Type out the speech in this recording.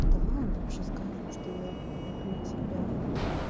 давай им вообще скажем что я люблю тебя